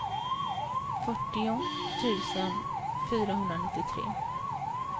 fyrtio tusen fyrahundranittiotre